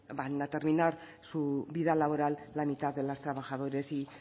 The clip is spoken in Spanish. van a terminar su vida laboral la mitad de las trabajadoras y